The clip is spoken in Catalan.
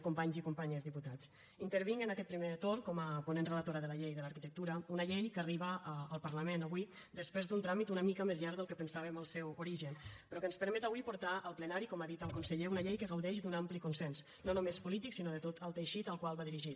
companys i companyes diputats intervinc en aquest primer torn com a ponent relatora de la llei de l’arquitectura una llei que arriba al parlament avui després d’un tràmit una mica més llarg del que pensàvem en el seu origen però que ens permet avui portar al plenari com ha dit el conseller una llei que gaudeix d’un ampli consens no només polític sinó de tot el teixit al qual va dirigit